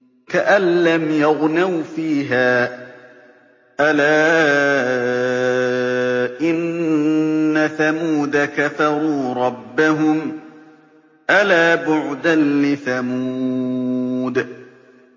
كَأَن لَّمْ يَغْنَوْا فِيهَا ۗ أَلَا إِنَّ ثَمُودَ كَفَرُوا رَبَّهُمْ ۗ أَلَا بُعْدًا لِّثَمُودَ